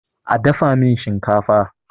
a dafa min shinkafa!